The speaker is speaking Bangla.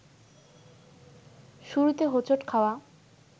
শুরুতে হোঁচট খাওয়া